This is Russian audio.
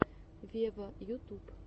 вево ютуб